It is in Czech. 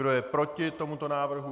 Kdo je proti tomuto návrhu?